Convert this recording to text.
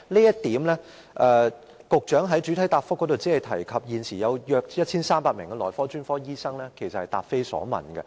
就此，局長在主體答覆中只提及現時約有1300名內科專科醫生，她其實答非所問。